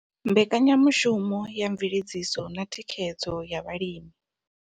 Mbekanya mushumo ya Mveledziso na Thikhedzo ya Vhalimi.